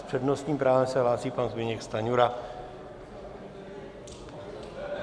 S přednostním právem se hlásí pan Zbyněk Stanjura.